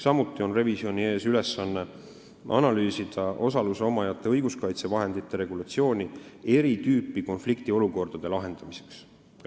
Ka on revisjoni ees ülesanne analüüsida osaluse omajate õiguskaitsevahendite regulatsiooni eri tüüpi konfliktiolukordade lahendamiseks .